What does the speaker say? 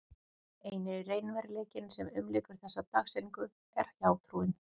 Eini raunveruleikinn sem umlykur þessa dagsetningu er hjátrúin.